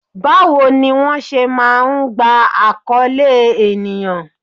Báwo ni wón ṣé máa ń gba akoole ènìyàn?